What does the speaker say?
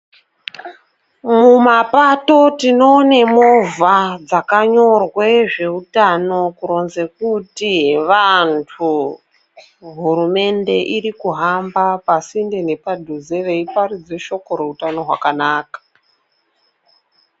Mumapato tinoone movha dzakanyorwe zveutano kuronze kuti vantu ,hurumende irikuramba pasinte nepadhuze veiparidze shoko routano rwakanaka.